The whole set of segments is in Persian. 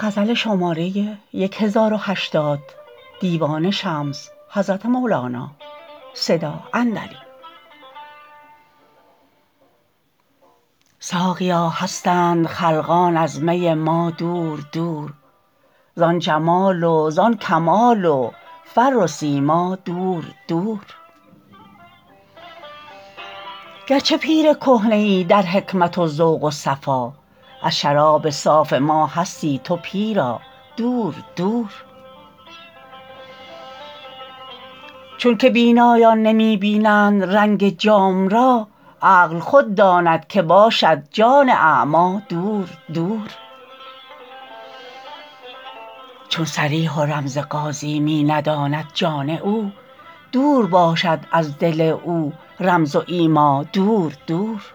ساقیا هستند خلقان از می ما دور دور زان جمال و زان کمال و فر و سیما دور دور گرچه پیر کهنه ای در حکمت و ذوق و صفا از شراب صاف ما هستی تو پیرا دور دور چونک بینایان نمی بینند رنگ جام را عقل خود داند که باشد جان اعمی دور دور چون صریح و رمز قاضی می نداند جان او دور باشد از دل او رمز و ایما دور دور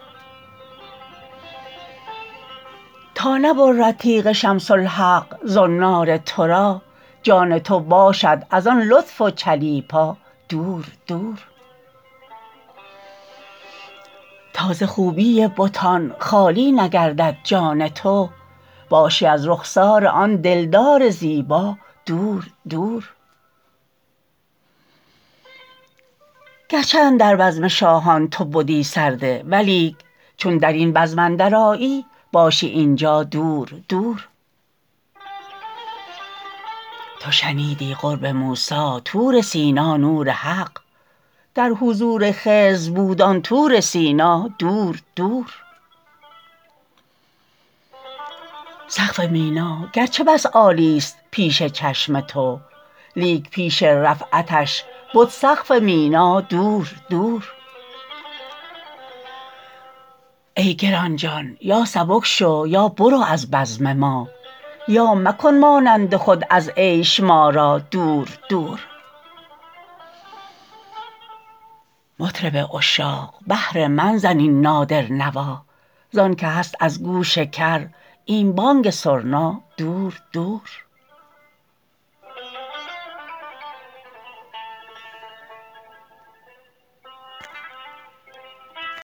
تا نبرد تیغ شمس الحق زنار تو را جان تو باشد از آن لطف و چلیپا دور دور تا ز خوبی بتان خالی نگردد جان تو باشی از رخسار آن دلدار زیبا دور دور گرچه اندر بزم شاهان تو بدی سرده ولیک چون در این بزم اندرآیی باشی این جا دور دور تو شنیدی قرب موسی طور سینا نور حق در حضور خضر بود آن طور سینا دور دور سقف مینا گرچه بس عالیست پیش چشم تو لیک پیش رفعتش بد سقف مینا دور دور ای گران جان یا سبک شو یا برو از بزم ما یا مکن مانند خود از عیش ما را دور دور مطرب عشاق بهر من زن این نادر نوا زانک هست از گوش کر این بانگ سرنا دور دور